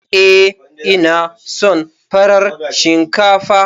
Ee, ina son farar shinkafa.